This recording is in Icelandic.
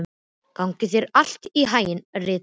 Gangi þér allt í haginn, Rita.